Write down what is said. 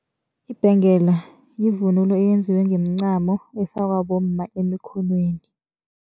Ibhengela yivunulo eyenziwe ngomncamo efakwa bomma emkhonweni.